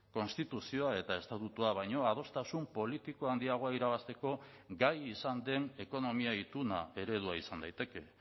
konstituzioa eta estatutua baino adostasun politiko handiagoa irabazteko gai izan den ekonomia ituna eredua izan daiteke